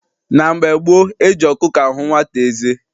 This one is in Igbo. Na mgbe gboo, eji ọkụkọ ahụ nwata eze.